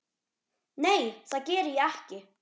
Nei, það geri ég ekki.